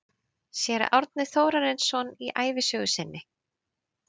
Séra Árni Þórarinsson í ævisögu sinni